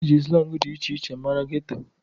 E ji slangị dị iche iche mara geto.